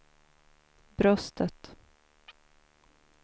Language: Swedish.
bröstet